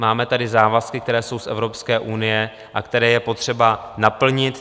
Máme tady závazky, které jsou z Evropské unie a které je potřeba naplnit.